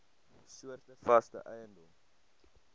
soorte vaste eiendom